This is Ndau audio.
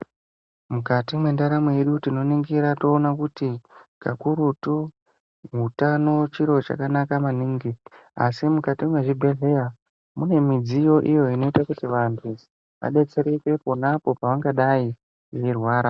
Mukati mwendaramo yedu tinonigira toona kuti kakurutu utano chiro chakanaka maningi asi kuti mukati mwezvibhedhleya mune midziyo iyo inoite kuti vantu vabetsereke ponapo pavangadai veirwara.